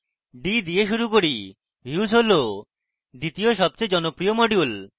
d দিয়ে শুরু করি views হল দ্বিতীয় সবচেয়ে জনপ্রিয় module